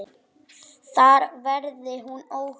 Þar verði hún óhult.